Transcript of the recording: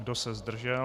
Kdo se zdržel?